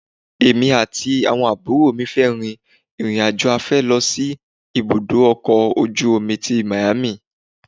Èmi àti àwọn àbúrò mi fẹ́ rìn ìrìn-àjò afẹ́ lọ sí ibùdó ọkọ̀ ojú omi tí Miami.